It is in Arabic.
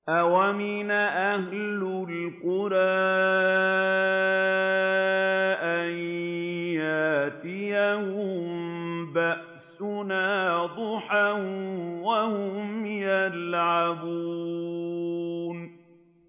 أَوَأَمِنَ أَهْلُ الْقُرَىٰ أَن يَأْتِيَهُم بَأْسُنَا ضُحًى وَهُمْ يَلْعَبُونَ